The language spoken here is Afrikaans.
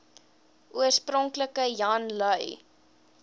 oorspronklik jan lui